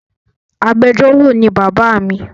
Agbẹjọro ni baba mi